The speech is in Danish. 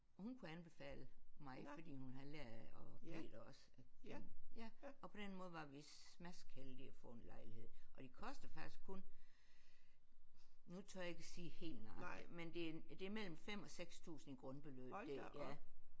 Og hun kunne anbefale mig fordi hun havde lært og Peter også at kende og på den måde var vi smaskheldige at få en lejlighed og de koster faktisk kun nu tør jeg ikke at sige helt nøjagtigt men det det er mellem 5 og 6000 i grundbeløb det er ja